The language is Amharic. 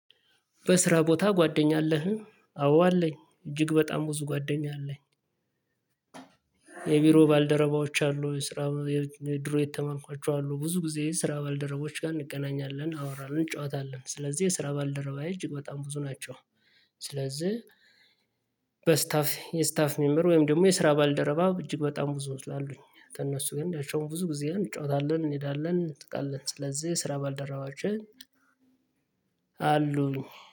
በስራ ቦታ ጓደኛ አለህ? አዎ አለኝ እጅግ በጣም ብዙ ጓደኛ አለኝ የቢሮ ባልደረባዎች አሉ የስራ የድሮ የተማምኳቸው አሉ ብዙ ጊዜ ስራ ባልደረባዎች ጋር እንገናኛለን እናወራን እንጫወታለን ስለዚህ የስራ ባልደረባዬ እጅግ በጣም ብዙ ናቸው ስለዚህ በስታፍ የስታፍ ሜምበር ወይም ደግሞ የስራ ባልደረባ እጅግ በጣም ብዙ ስላሉኝ ከእነሱ ግን ያቸውን ብዙ ጊዜ እንጫወታለን እንሄዳለን እንጠቃለን ስለዚህ ስራ ባልደረባችን አሉኝ